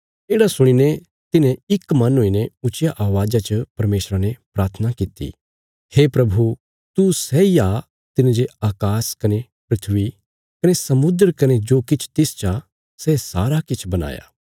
येढ़ा सुणीने तिन्हें इक मन हुईने ऊच्चिया अवाज़ा च परमेशरा ने प्राथना किति हे प्रभु तू सैई आ तिने जे अकाश कने धरती कने समुद्र कने जो किछ तिस चा सै सारा किछ बणाया